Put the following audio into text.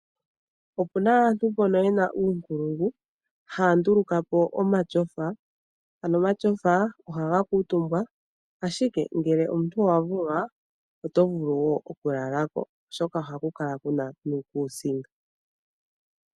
Opu na aantu mbono ye na uunkulungu, haa nduluka po omatyofa. Ano omatyofa ohaga kuutumbwa, ashike ngele omuntu owa vulwa, oto vulu wo okulala ko, oshoka ohaku kala ku na nuukuusinga.